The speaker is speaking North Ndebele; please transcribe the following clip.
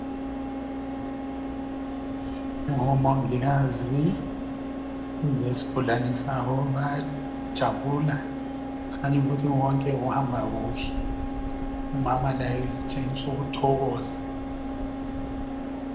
Ngomongikazi lesigulani sabo ,bayajabula ngenxa yokuthi konke kuhambakuhle . Umama laye utshengisukuthokoza.